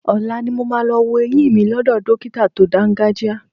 Ọ̀la ni mo máa lọ wo eyín mi lọ́dọ̀ dọ́kítà tó dáńgájíá.